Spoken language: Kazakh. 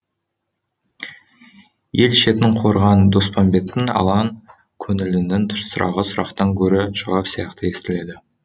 ел шетін қорыған доспамбеттің алаң көңілінің сұрағы сұрақтан гөрі жауап сияқты естіледі